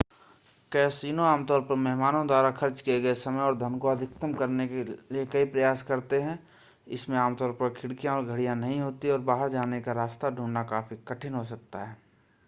casino आमतौर पर मेहमानों द्वारा खर्च किए गए समय और धन को अधिकतम करने के लिए कई प्रयास करते हैं इसमें आमतौर पर खिड़कियां और घड़ियां नहीं होती हैं और बाहर जाने का रास्ता ढूंढना काफी कठिन हो सकता है